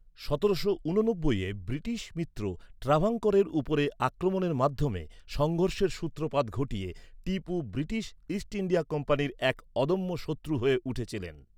সতেরোশো ঊননব্বইয়ে ব্রিটিশ মিত্র ট্রাভাঙ্কোরের উপরে আক্রমণের মাধ্যমে, সংঘর্ষের সূত্রপাত ঘটিয়ে, টিপু ব্রিটিশ ইস্ট ইন্ডিয়া কোম্পানির এক অদম্য শত্রু হয়ে উঠেছিলেন।